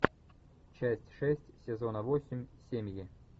часть шесть сезона восемь семьи